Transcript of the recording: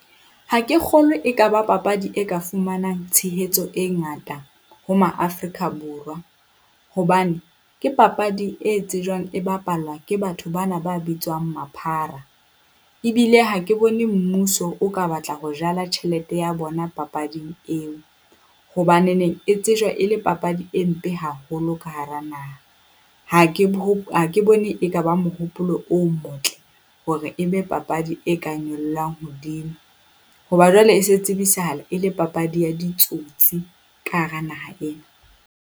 Ha ke kgolwe e ka ba papadi e ka fumanang tshehetso e ngata ho Maaforika Borwa, hobane ke papadi e tsejwang e bapalwa ke batho bana ba bitswang maphara. Ebile ha ke bone mmuso o ka batla ho jala tjhelete ya bona papading eo, hobanene e tsejwa e le papadi e mpe haholo ka hara nna ha ke ho ha ke bone ekaba mohopolo o motle hore e be papadi e ka nyolohelang hodimo hoba jwale e se tsebisahala e le papadi ya ditsotsi ka hara naha ena.